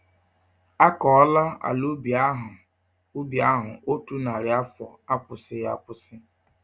Akọọla ala ubi ahụ ubi ahụ otú nnari afọ, akwụsịghi akwụsị